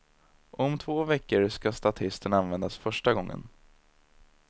Och om två veckor ska statisten användas första gången.